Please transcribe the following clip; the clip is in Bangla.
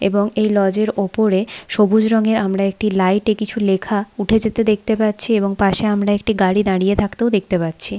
এবং এই লজ এর ওপরে সবুজ রঙের আমরা একটি লাইট এ কিছু লেখা উঠে যেতে দেখতে পারছি এবং পাশে আমরা একটি গাড়ি দাঁড়িয়ে থাকতেও দেখতে পাচ্ছি।